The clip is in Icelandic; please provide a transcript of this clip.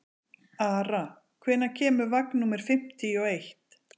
Ara, hvenær kemur vagn númer fimmtíu og eitt?